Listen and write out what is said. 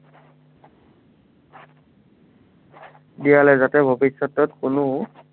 দিয়া নাই যাতে ভৱিষ্য়তত কোনো